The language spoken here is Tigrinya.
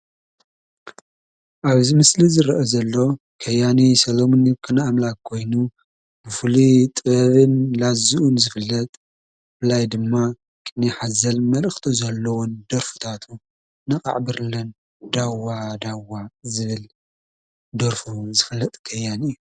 ኣብዚ ምስሊ ዝረአ ዘሎ ከያኒ ሰለሙን ይኩኖ ኣምላክ ኮይኑ ብፍሉይ ጥበብን ላዙኡን ዝፍለጥ ብፍላይ ድማ ቅኔ ሓዘል መልእኽቲ ዘለዎን ደርፊታቱ ነቓዕ ብርለን፣ ዳዋዳዋ ዝብል ደርፉን ዝፍለጥ ከያኒ እዩ፡፡